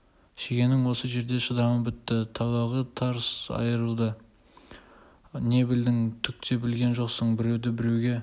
шегенің осы жерде шыдамы бітті талағы тарс айрылды не білдің түк те білген жоқсың біреуді біреуге